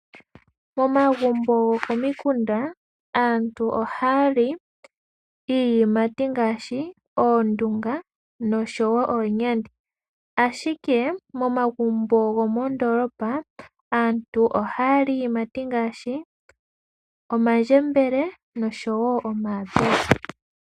Momagumbo gokomikunda aantu ohaya li iiyimati ngaashi, oondunga noshowo oonyandi. Ashike momagumbo gomoondoolopa, aantu ohaya li iiyimati ngaashi, omandjembele noshowo omayapula.